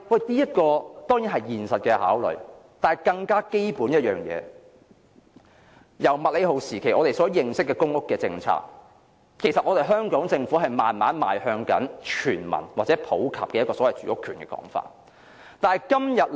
這是現實考慮，但更基本的一點是，自從麥理浩時期的公屋政策以來，香港政府其實是慢慢邁向奉行全民或普及住屋權的理念。